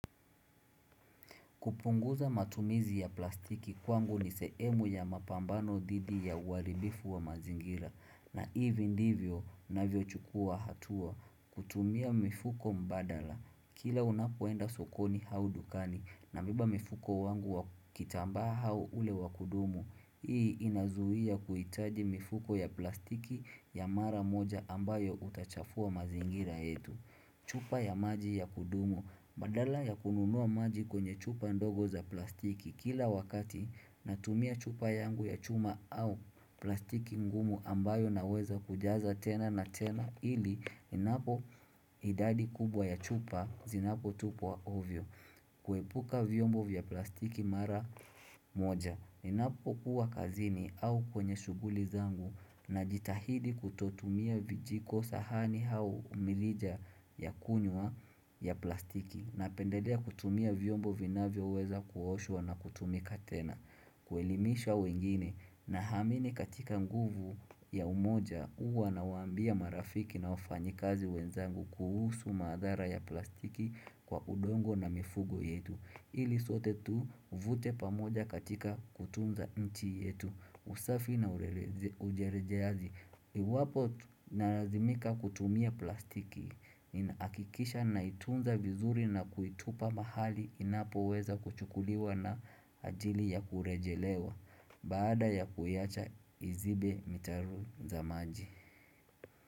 Kupunguza matumizi ya plastiki kwangu ni sehemu ya mapambano dhidi ya uharibifu wa mazingira. Na hivi ndivyo ninavyo chukua hatua. Kutumia mifuko mbadala. Kila unapoenda sokoni au dukani na nabeba mfuko wangu wa kitambaa au ule wa kudumu. Hii inazuia kuhitaji mifuko ya plastiki ya mara moja ambayo huchafua mazingira yetu. Chupa ya maji ya kudumu. Badala ya kununua maji kwenye chupa ndogo za plastiki kila wakati natumia chupa yangu ya chuma au plastiki ngumu ambayo naweza kujaza tena na tena ili inapo idadi kubwa ya chupa zinapo tupwa ovyo kuepuka vyombo vya plastiki mara moja Ninapo kuwa kazini au kwenye shughuli zangu najitahidi kutotumia vijiko sahani au mirija ya kunywa ya plastiki Napendedea kutumia vyombo vinavyoweza kuoshwa na kutumika tena kuelimisha wengine naamini katika nguvu ya umoja huwa nawaambia marafiki na wafanyikazi wenzangu kuhusu madhara ya plastiki kwa udongo na mifugo yetu ili zote tuvute pamoja katika kutunza nchi yetu usafi na urejeaji Iwapo nalazimika kutumia plastiki Nina hakikisha naitunza vizuri na kuitupa mahali Inapoweza kuchukuliwa na ajili ya kurejelewa Bada ya kuyaacha izibe mitaro za maji.